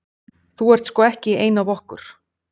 Þú ert sko ekki ein af okkur.